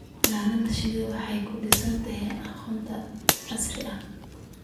Xannaanada shinnidu waxay ku dhisan tahay aqoonta casriga ah.